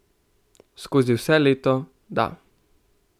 Skozi vse leto, da.